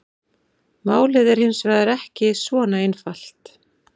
Málið er hins vegar ekki svona einfalt.